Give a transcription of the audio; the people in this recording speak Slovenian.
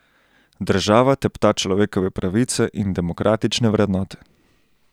Država tepta človekove pravice in demokratične vrednote.